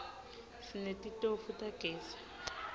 sinetitofu tagezi